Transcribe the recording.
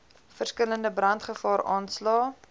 verskillende brandgevaar aanslae